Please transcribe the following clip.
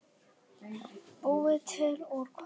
Búið til úr kolum!